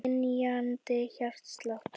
Fær dynjandi hjartslátt.